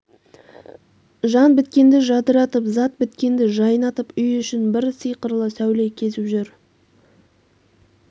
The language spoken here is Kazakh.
жан біткенді жадыратып зат біткенді жайнатып үй ішін бір сиқырлы сәуле кезіп жүр